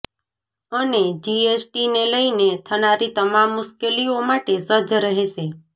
અને જીએસટીને લઇને થનારી તમામ મુશ્કેલીઓ માટે સજ્જ રહેશે